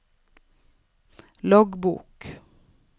loggbok